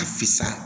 A fisa